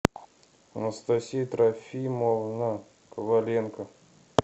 анастасия трофимовна коваленко